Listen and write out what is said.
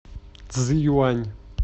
цзиюань